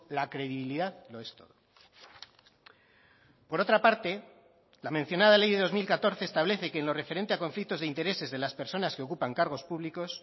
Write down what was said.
la credibilidad lo es todo por otra parte la mencionada ley de dos mil catorce establece que en lo referente a conflictos de intereses de las personas que ocupan cargos públicos